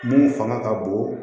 Mun fanga ka bon